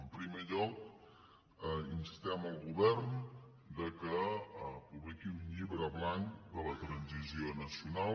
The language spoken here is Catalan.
en primer lloc instem el govern que publiqui un llibre blanc de la transició nacional